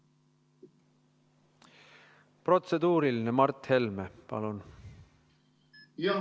Protseduuriline, Mart Helme, palun!